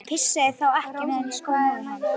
Hann pissaði þá ekki á meðan í skó móður hans.